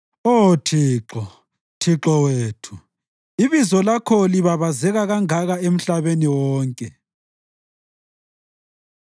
Oh Thixo, Thixo wethu, ibizo lakho libabazeka kangaka emhlabeni wonke!